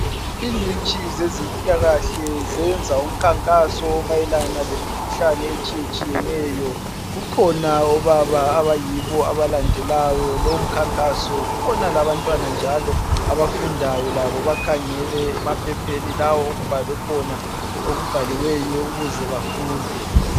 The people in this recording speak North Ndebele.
Ingcitshi zempilakahle zenza umkankaso omayelana ngemikhuhlane etshiye tshiyeneyo, kukhona obaba abayibo abalandelayo lomkankaso, kukhona njalo abantwana abakhangeleyo emaphepheni okubhaliweyo ukuze bafunde.